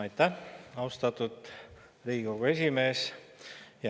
Aitäh, austatud Riigikogu esimees!